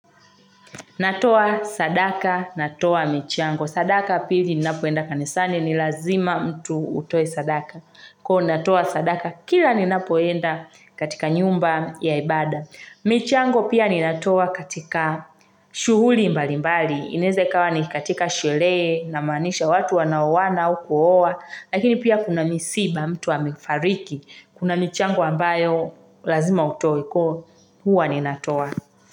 Natoa sadaka, natoa michango. Sadaka pili ninapoenda kanisani ni lazima mtu utoe sadaka. Kwa natoa sadaka, kila ninapoenda katika nyumba ya ibada. Michango pia ninatoa katika shughuli mbali mbali. Ineze ikawa ni katika shule namanisha watu wanawona au kuowa. Lakini pia kuna misiba mtu amefariki. Kuna michango ambayo lazima utoe kwa huwa ninatoa.